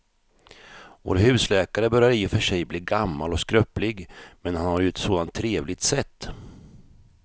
Vår husläkare börjar i och för sig bli gammal och skröplig, men han har ju ett sådant trevligt sätt!